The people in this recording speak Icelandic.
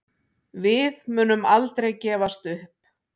Við munum aldrei gefast upp